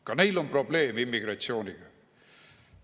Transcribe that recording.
Ka neil on probleeme immigratsiooniga.